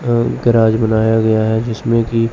garage बनाया गया है जिसमें की--